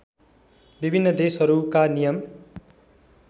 विभिन्न देशहरूका नियम